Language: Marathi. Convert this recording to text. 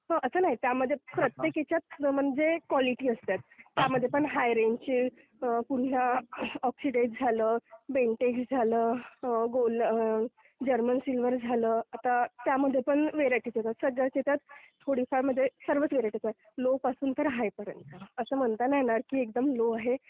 हो, असं नाही, त्यामध्ये म्हणजे प्रत्येक ह्याच्यात म्हणजे क्वालिटी असतात. त्यामध्ये पण हाय रेंजची पुन्हा ऑक्सिडाईज्ड झालं, बेंटेक्स झालं, जर्मन सिल्वर झालं, आता त्यामध्ये पण व्हरायटी येतात. सध्याच्या ह्याच्यात थोडीफारमध्ये सर्वच येतात म्हणजे लोपासून ते हायपर्यंत. असं म्हणता नाही येणार की एकदम लो आहे.